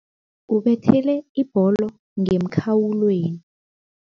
Ubethele ibholo ngemkhawulweni.